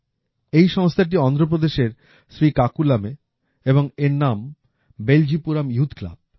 এই সংস্থাটি অন্ধ্রপ্রদেশের শ্রীকাকুলামে এবং এর নাম বেলজিপুরাম ইউথ ক্লাব